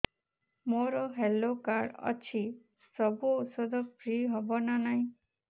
ମୋର health card ଅଛି ସବୁ ଔଷଧ ଫ୍ରି ହବ ନା ନାହିଁ